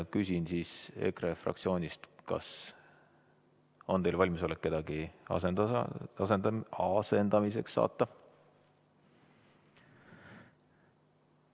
Küsin siis EKRE fraktsioonilt, kas te olete valmis kedagi asendamiseks saatma.